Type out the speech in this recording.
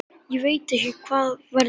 Ég veit ekki hvað verður.